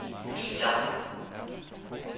filer